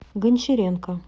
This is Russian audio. гончаренко